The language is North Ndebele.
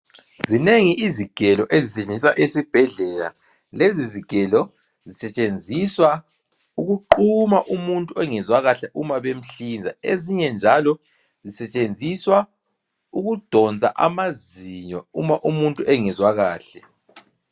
Zinengi izigelo ezisetshenziswa esibhedlela. Lezi zigelo zisetshenziswa ukuquma umuntu ongezwa kahle uma bemhlinza, ezinye njalo zisetshenziswa ukudonsa amazinyo uma umuntu engezwa kahle.